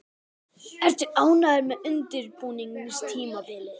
Ertu ánægður með undirbúningstímabilið?